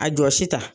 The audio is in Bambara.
A jɔsi ta